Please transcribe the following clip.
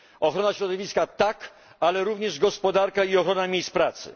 Ochrona środowiska tak, ale ważna jest również gospodarka i ochrona miejsc pracy.